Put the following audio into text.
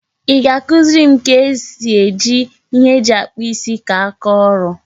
I ga-akụziri m ka ezi eji ihe eji akpu isi ka aka oru?